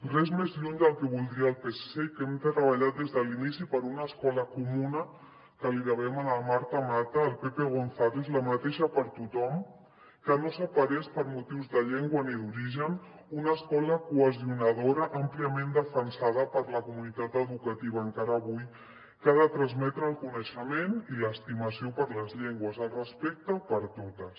res més lluny del que voldria el psc que hem treballat des de l’inici per una escola comuna que li devem a la marta mata al pepe gonzález la mateixa per a tothom que no separés per motius de llengua ni d’origen una escola cohesionadora àmpliament defensada per la comunitat educativa encara avui que ha de transmetre el coneixement i l’estimació per les llengües el respecte per totes